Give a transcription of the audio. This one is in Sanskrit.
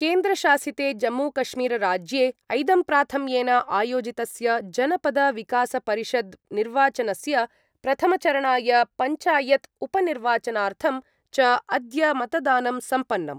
केन्द्रशासिते जम्मूकश्मीरराज्ये ऐदम्प्राथम्येन आयोजितस्य जनपदविकासपरिषद्निर्वाचनस्य प्रथमचरणाय, पञ्चायत् उपनिर्वाचनार्थं च अद्य मतदानं सम्पन्नम्।